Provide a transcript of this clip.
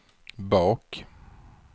bak